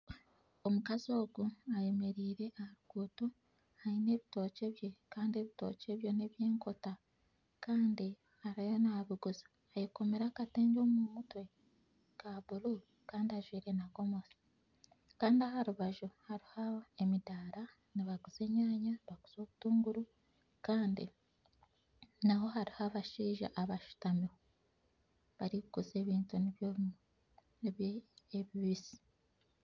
Omukazi ogu ayemereire aha ruguuto aine ebitookye bye kandi ebitookye bye ebyo n'eby'enkota kandi ariyo naabiguza. Ayekomire akatengye omu mutwe ka buru kandi ajwaire na gomesi. Kandi aha rubaju hariho emidaara nibaguza enyaanya nibaguza obutunguru kandi naho hariho abashaija abashutamiho barikuguza ebintu nibyo bimwe ebibisi.